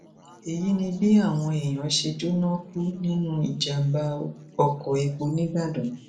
èyí ni bí àwọn èèyàn ṣe jóná kú nínú ìjàmbá oko epo nìbàdàn